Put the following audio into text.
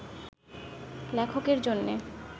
লেখকের জন্যে